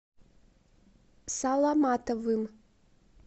саламатовым